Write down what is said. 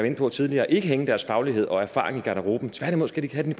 inde på tidligere ikke hænge deres faglighed og erfaring i garderoben tværtimod skal de tage den